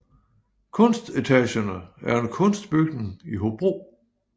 Kunstetagerne er en kunstbygning i Hobro